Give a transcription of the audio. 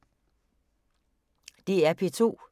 DR P2